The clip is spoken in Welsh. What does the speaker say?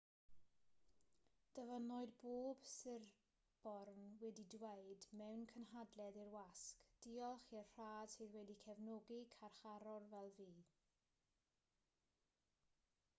dyfynnwyd bod siriporn wedi dweud mewn cynhadledd i'r wasg diolch i'r rhad sydd wedi cefnogi carcharor fel fi